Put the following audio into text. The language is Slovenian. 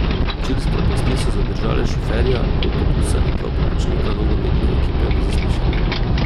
Čilske oblasti so zadržale šoferja avtobusa in dva pomočnika nogometne ekipe na zaslišanju.